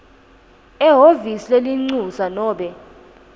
ehhovisi lelincusa nobe